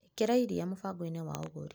ĩkĩra iria mũbango-inĩ wa ũgũri .